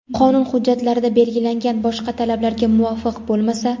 qonun hujjatlarida belgilangan boshqa talablarga muvofiq bo‘lmasa;.